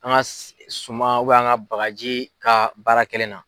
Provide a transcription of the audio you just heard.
An ka suman an ka bagaji ka baara kɛlen na.